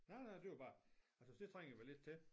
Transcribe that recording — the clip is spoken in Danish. Nej nej det var bare jeg synes det trænger vi da lidt til